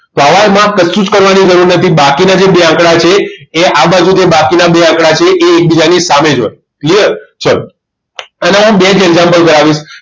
સવાલ માં કશું જ કરવાની જરૂર નથી બાકી ના જે બે આંકડા છે એ આ બાજુના જે બાકી આંકડા એ એકબીજાની સામે જ હોય clear ચલો આના હું best example કરાવીશ